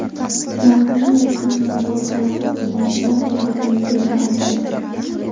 Mourinyo ismining noto‘g‘ri talaffuz qilinishidan asabi buzilishini aytdi.